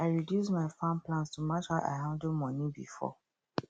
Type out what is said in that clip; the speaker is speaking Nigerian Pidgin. i reduce my farm plans to match how i handle money before